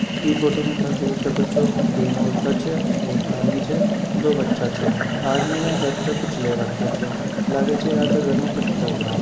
इ फोटो में था देख सको छे तीन औरत छे एक आदमी छे दो बच्चा छे आदमी ने सर पर कुछ ले रख्ख्यो छे लागे छे जेक घर में कुछ प्रोग्राम छे।